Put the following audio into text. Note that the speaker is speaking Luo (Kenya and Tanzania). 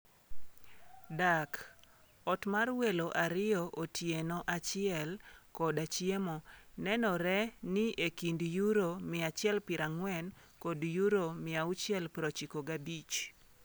Dak (ot mar welo ariyo, otieno achiel, koda chiemo) nengone ni e kind £140 - £695.